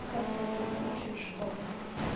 как-то это не очень что